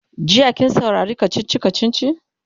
jiya kin saurari kachichi kachichin?